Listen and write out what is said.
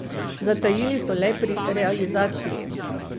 Zatajili so le pri realizaciji.